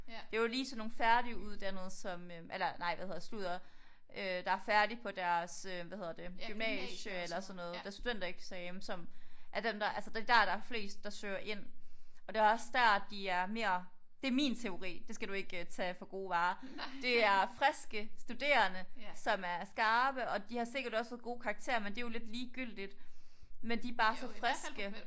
Det jo lige sådan nogle færdiguddannede som øh eller nej hvad hedder sludder øh der er færdige på deres øh hvad hedder det gymnasie eller sådan noget deres studentereksamen som er dem der altså det er dér der er flest der søger ind og det er også der at de er mere det er min teori det skal du ikke øh tage for gode varer det er friske studerende som er skarpe og de har sikkert også fået gode karakterer men det er jo lidt ligegyldigt men de er bare så friske